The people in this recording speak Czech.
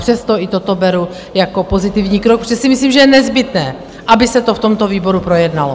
Přesto i toto beru jako pozitivní krok, protože si myslím, že je nezbytné, aby se to v tomto výboru projednalo.